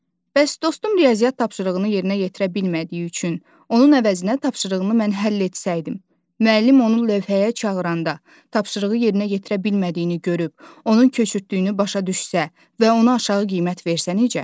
Bəs dostum riyaziyyat tapşırığını yerinə yetirə bilmədiyi üçün, onun əvəzinə tapşırığını mən həll etsəydim, müəllim onun lövhəyə çağıranda, tapşırığı yerinə yetirə bilmədiyini görüb, onun köçürtdüyünü başa düşsə və ona aşağı qiymət versə necə?